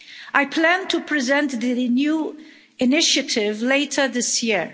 I plan to present the new initiative later this year.